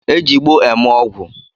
E ji igbo eme ogwu